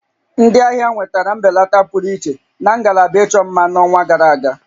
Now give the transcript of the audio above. Ndị ahịa nwetara mbelata pụrụ iche na ngalaba ịchọ mma n'ọnwa gara aga